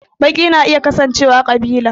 Baki na iya kasancewa ƙabila